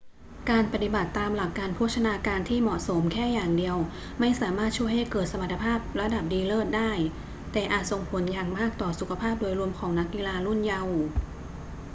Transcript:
การปฏิบัติตามหลักการโภชนาการที่เหมาะสมแค่อย่างเดียวไม่สามารถช่วยให้เกิดสมรรถภาพระดับดีเลิศได้ แต่อาจส่งผลอย่างมากต่อสุขภาพโดยรวมของนักกีฬารุ่นเยาว์